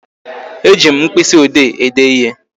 E ji mkpịsị ode ede ịhe